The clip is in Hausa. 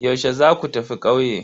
Yaushe za ku tafi ƙauye?